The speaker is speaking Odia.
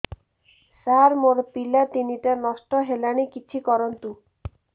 ସାର ମୋର ପିଲା ତିନିଟା ନଷ୍ଟ ହେଲାଣି କିଛି କରନ୍ତୁ